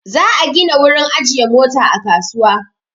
Za'a gina wurin ajiye Mota a kasuwa.